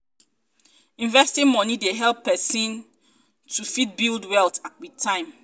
investing money um dey help person um to um fit build wealth with time